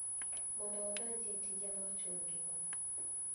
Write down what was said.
Mondo odonji e tije ma ochun gi go